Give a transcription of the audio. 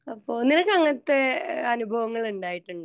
അപ്പൊ നിനക്കു അങ്ങനത്തെ അനുഭവങ്ങൾ ഉണ്ടായിട്ടുണ്ടോ ?